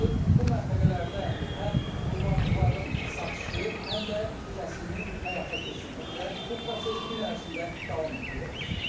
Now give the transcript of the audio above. Bu məntəqələrdə həm qurbanlıqların satışı, həm də kəsimi həyata keçirilir və bu proses gün ərzində davam etdirilir.